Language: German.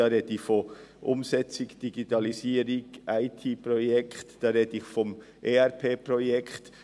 Ich spreche von der Umsetzung Digitalisierungs-/IT-Projekte, ich spreche vom ERP-Projekt.